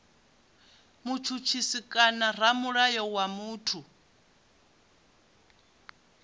mutshutshisi kana ramulayo wa muthu